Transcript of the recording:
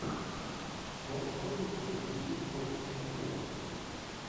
можешь врубить игру сити против ливерпуля